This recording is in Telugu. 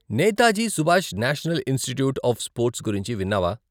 Netaji Subhash national institute of sports గురించి విన్నావా?